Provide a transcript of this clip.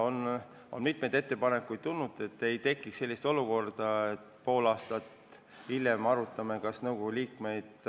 On tulnud mitu ettepanekut, et ei tekiks sellist olukorda, et me pool aastat pärast tähtaega arutame nõukogu liikmeid.